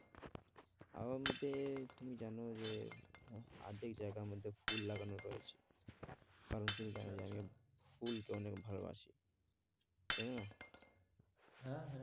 আমার মতে তুমি জানো যে, অর্ধেক জায়গা আমাদের ফুল লাগানো রয়েছে কারণ তুমি জানো যে আমি ফুলকে অনেক ভালোবাসি জানো না? হ্যাঁ, হ্যাঁ